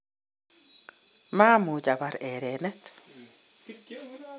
maamuch Abar erenet